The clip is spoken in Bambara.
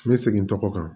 N bɛ segin n tɔgɔ kan